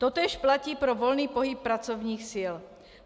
Totéž platí pro volný pohyb pracovních sil.